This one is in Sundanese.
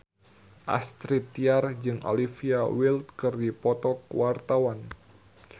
Astrid Tiar jeung Olivia Wilde keur dipoto ku wartawan